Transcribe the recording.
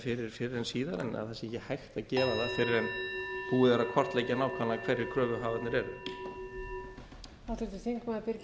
fyrir fyrr en síðar en það sé ekki hægt að gera það fyrr en búið er að kortleggja nákvæmlega hverjir kröfuhafarnir eru